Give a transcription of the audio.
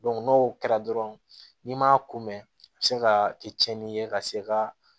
n'o kɛra dɔrɔn n'i m'a kun mɛn a bɛ se ka kɛ cɛnni ye ka se ka